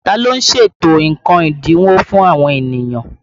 Ta ló ń ṣètò nǹkan ẹ́dínwó fún àwọn ènìyàn?